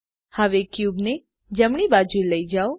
હવે ક્યુબ ને જમણી બાજુ લઈ જાવ